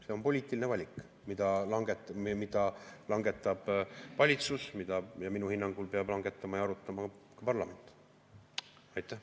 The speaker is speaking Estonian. See on poliitiline valik, mille langetab valitsus, aga mida minu hinnangul peab arutama ka parlament ja otsustama samuti.